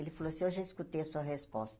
Ele falou assim, eu já escutei a sua resposta.